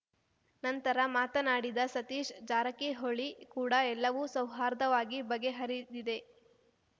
ನಂತರ ಮಾತನಾಡಿದ ಸತೀಶ್‌ ಜಾರಕಿಹೊಳಿ ಕೂಡ ಎಲ್ಲವೂ ಸೌಹಾರ್ದವಾಗಿ ಬಗೆಹರಿದಿದೆ